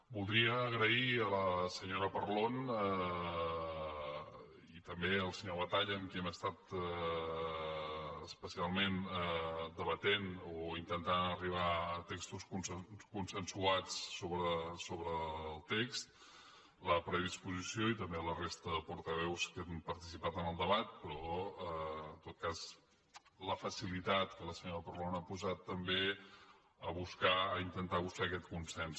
voldria agrair a la senyora parlon i també al senyor batalla amb qui hem estat especialment debatent o intentant arribar a textos consensuats sobre el text la predisposició i també a la resta de portaveus que han participat en el debat però en tot cas la facilitat que la senyora parlon ha posat també a intentar buscar aquest consens